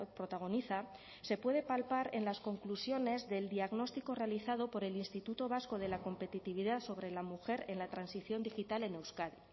protagoniza se puede palpar en las conclusiones del diagnóstico realizado por el instituto vasco de la competitividad sobre la mujer en la transición digital en euskadi